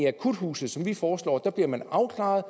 akuthuse som vi foreslår bliver man afklaret